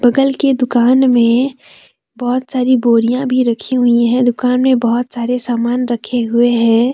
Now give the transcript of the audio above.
बगल के दुकान में बहुत सारी बोरियां भी रखी हुई हैं दुकान में बहुत सारे सामान रखे हुए हैं।